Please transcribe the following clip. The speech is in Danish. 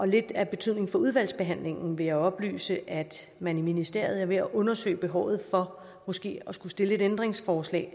lidt af betydning af udvalgsbehandlingen vil jeg oplyse at man i ministeriet er ved at undersøge behovet for måske at skulle stille et ændringsforslag